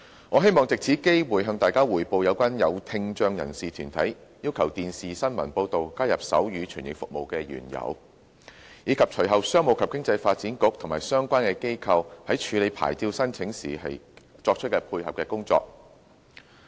我希望藉此機會，向大家匯報有關有聽障人士團體要求電視新聞報道加入手語傳譯服務的原由，以及隨後商務及經濟發展局及相關機構在處理牌照申請時作出配合的工作。